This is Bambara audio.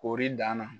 Koori dan na